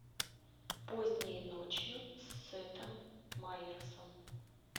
поздней ночью с сетом майерсом